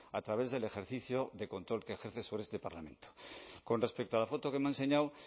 a través del ejercicio de control que ejerce sobre este parlamento con respecto a la foto que me ha enseñado